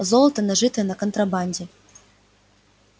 золото нажитое на контрабанде